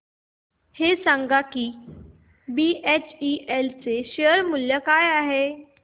हे सांगा की बीएचईएल चे शेअर मूल्य काय आहे